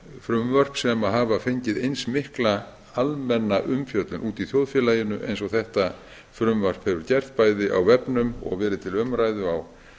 frumvörp hafa fengið eins mikla almenna umfjöllun í þjóðfélaginu og þetta frumvarp hefur gert til dæmis á vefnum verið til umræðu á